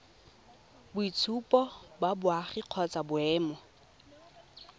boitshupo ba boagi kgotsa boemo